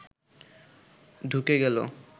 ঢুকে গেল